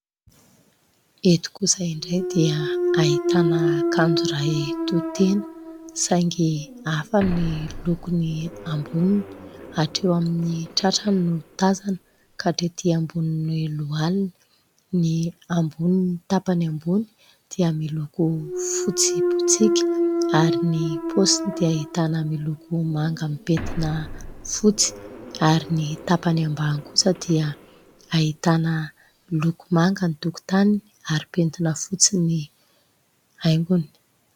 Eto kosa indray dia ahitana akanjo iray tohitena saingy hafa ny lokony amboniny, hatreo amin'ny tratrany no tazana ka hatrety amboniny lohaliny. Ny amboniny tapany ambony dia miloko fotsy botsiaka ary ny paosiny dia ahitana miloko manga mipentina fotsy ary ny tapany ambany kosa dia ahitana loko manga ny tokotaniny ary pentina fotsy ny haingony.